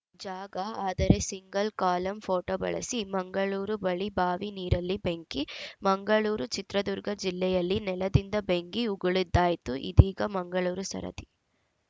ಜಾಗ ಆದರೆ single column photo ಬಳಸಿ ಮಂಗಳೂರು ಬಳಿ ಬಾವಿ ನೀರಲ್ಲಿ ಬೆಂಕಿ ಮಂಗಳೂರು ಚಿತ್ರದುರ್ಗ ಜಿಲ್ಲೆಯಲ್ಲಿ ನೆಲದಿಂದ ಬೆಂಕಿ ಉಗುಳಿದ್ದಾಯ್ತು ಇದೀಗ ಮಂಗಳೂರು ಸರದಿ